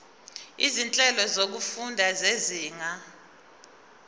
izinhlelo zokufunda zezinga